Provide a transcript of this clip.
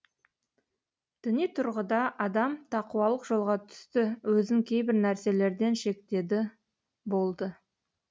діни тұрғыда адам тақуалық жолға түсті өзін кейбір нәрселерден шектеді болды